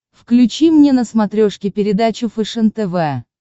включи мне на смотрешке передачу фэшен тв